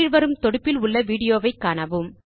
கீழ் வரும் தொடுப்பில் உள்ள விடியோவை காணவும்